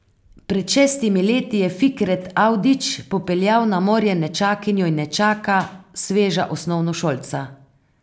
Pred šestimi leti je Fikret Avdić popeljal na morje nečakinjo in nečaka, sveža osnovnošolca.